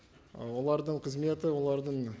ы олардың қызметі олардың